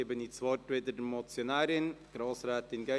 Nun hat die Motionärin wieder das Wort.